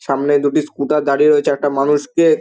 সামনে দুটি স্কুটার দাঁড়িয়ে রয়েছে একটা মানুষকে--